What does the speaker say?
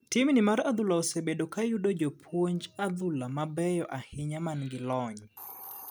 Tim ni mar adhula osebedo ka yudo jopuonj adhula mabeyo ahinya man gi lony .